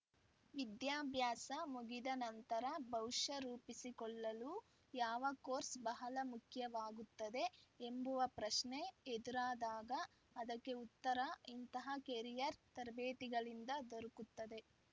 ವಿದ್ಯಾಭ್ಯಾಸ ಮುಗಿದ ನಂತರ ಭವಿಷ್ಯ ರೂಪಿಸಿಕೊಳ್ಳಲು ಯಾವ ಕೋರ್ಸ್‌ ಬಹಳ ಮುಖ್ಯವಾಗುತ್ತದೆ ಎಂಬುವ ಪ್ರಶ್ನೆ ಎದುರಾದಾಗ ಅದಕ್ಕೆ ಉತ್ತರ ಇಂತಹ ಕೆರಿಯರ್‌ ತರಬೇತಿಗಳಿಂದ ದೊರಕುತ್ತದೆ